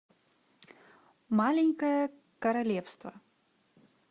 маленькое королевство